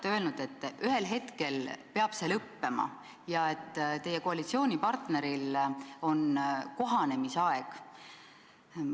Te olete öelnud, et ühel hetkel peab see lõppema ja et teie koalitsioonipartneril on kohanemisaeg.